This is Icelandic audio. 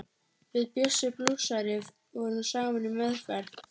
Við Bjössi blúsari vorum saman í meðferð.